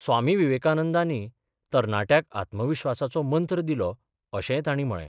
स्वामी विवेकानंदानी तरनाट्याक आत्मविश्वासाचो मंत्र दिलो अशेंय तांणी म्हळे.